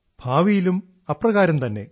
ഭാവിയിലും അപ്രകാരം തന്നെ